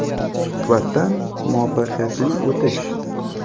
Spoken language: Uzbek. – Suhbatdan muvaffaqiyatli o‘tish!